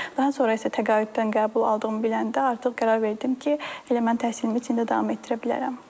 Daha sonra isə təqaüddən qəbul aldığımı biləndə artıq qərar verdim ki, elə mən təhsilimi içində davam etdirə bilərəm.